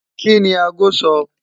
Kini àágò sọ?